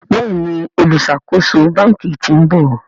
Béèni oluṣakoso bánkì t'in bò.